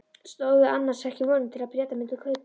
Stóðu annars ekki vonir til að Bretar mundu kaupa?